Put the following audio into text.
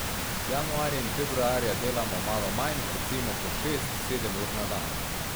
Januarja in februarja delam malo manj, recimo po šest, sedem ur na dan.